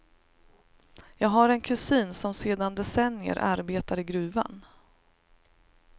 Jag har en kusin som sedan decennier arbetar i gruvan.